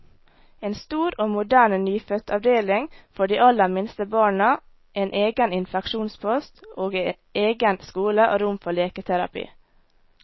En stor og moderne nyfødtavdeling for de aller minste barna, en egen infeksjonspost, og egen skole og rom for leketerapi.